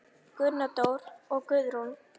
Gunndór og Guðrún.